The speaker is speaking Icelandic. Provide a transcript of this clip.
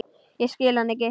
Ég skil hann ekki.